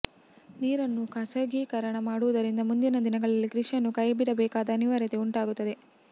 ನೀರನ್ನು ಖಾಸಗೀಕರಣ ಮಾಡುವುದರಿಂದ ಮುಂದಿನ ದಿನಗಳಲ್ಲಿ ಕೃಷಿಯನ್ನು ಕೈಬಿಡಬೇಕಾದ ಅನಿವಾರ್ಯತೆ ಉಂಟಾಗುತ್ತದೆ